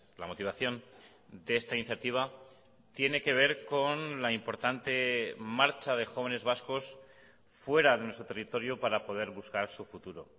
la motivación de esta iniciativa tiene que ver con la importante marcha de jóvenes vascos fuera de nuestro territorio para poder buscar su futuro